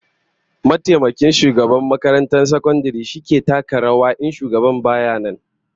Mataimakin shugaban makarantar sakandaren shi yakan taka rawar shugaban in shugaban baya nan